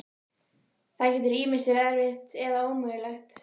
Það getur ýmist verið erfitt eða ómögulegt.